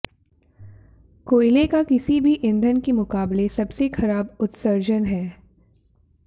कोयले का किसी भी ईंधन के मुकाबले सबसे खराब उत्सर्जन है